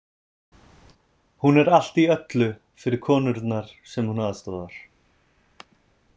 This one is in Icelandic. Hún er allt í öllu fyrir konurnar sem hún aðstoðar.